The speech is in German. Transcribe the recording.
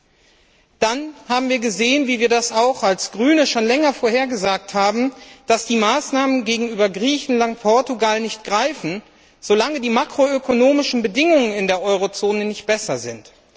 Zudem haben wir gesehen, wie wir das auch als Grüne schon länger vorhergesagt haben, dass die Maßnahmen gegenüber Griechenland und Portugal nicht greifen, solange die makroökonomischen Bedingungen in der Eurozone nicht besser sind.